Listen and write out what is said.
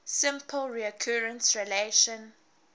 simple recurrence relation